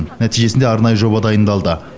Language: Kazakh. нәтижесінде арнайы жоба дайындалды